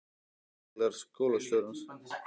Sævar kom á tilsettum tíma og var ævareiður.